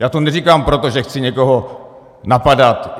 Já to neříkám proto, že chci někoho napadat.